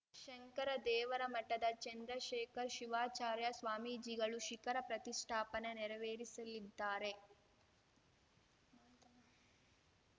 ಶಂಕರ ದೇವರಮಠದ ಚಂದ್ರಶೇಖರ್‌ ಶಿವಾಚಾರ್ಯ ಸ್ವಾಮೀಜಿಗಳು ಶಿಖರ ಪ್ರತಿಷ್ಠಾಪನೆ ನೆರವೇರಿಸಲಿದ್ದಾರೆ